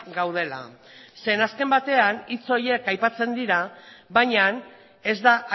gaudela zeren azken batean hitz horiek aipatzen dira baina ez da